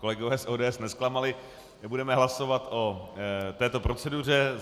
Kolegové z ODS nezklamali, budeme hlasovat o této proceduře.